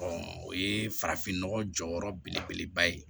o ye farafinnɔgɔ jɔyɔrɔ belebeleba ye